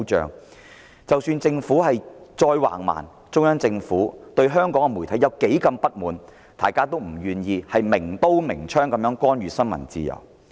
即使特區政府再橫蠻，中央政府對香港媒體如何不滿，大家也不願意明刀明槍地干預新聞自由。